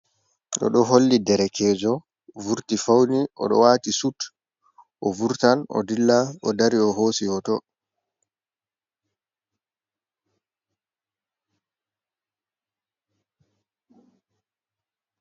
Ɓeɗo holli derkejo vurti fauni oɗo wati sut ovurtan o dilla o dari o hosi hoto.